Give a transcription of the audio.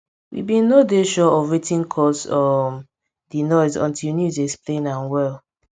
we bin nor dey sure of wetin cause um di noise until news explain am well